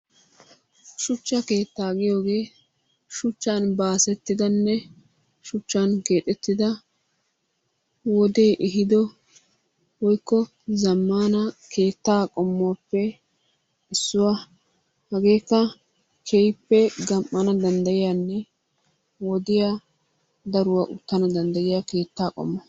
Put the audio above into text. Shuchcha kettaa giyoge shuchan basettidanne shichan kexettidaa wodee ehido woyko zamanna kettaa qommuwappe, hagekka kehipee gamanawi dandayiyane wodiyaa daruwa utanawu dandayiya kettaa qommuwa.